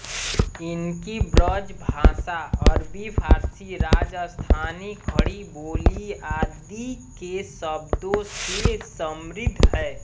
इनकी ब्रजभाषा अरबी फारसी राजस्थानी खड़ी बोली आदि के शब्दों से समृद्ध है